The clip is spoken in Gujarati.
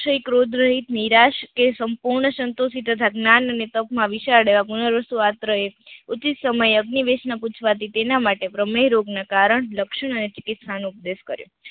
ઠિક રોધરા હિત નિરાશ કે સંપૂર્ણ સંતોંસી તથા જ્ઞાન અને તપ માં વિશાળ પૂર્ણ વસ્તુ ઉચિત સમયે અગ્નિવિષ ના પૂછવાથી તેના માટે પ્રમેય રોગ ના કારણ, લક્ષણ અને ચિકિત્સા નો ઉપદેશ કર્યો.